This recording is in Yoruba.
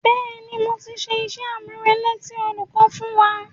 Bẹ́ẹ̀ni, mo ti ṣe iṣẹ́-àmúrelé tí olùkọ́ fún wa.